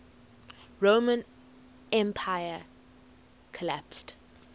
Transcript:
roman empire collapsed